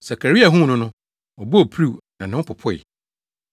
Sakaria huu no no, ɔbɔɔ piriw na ne ho popoe.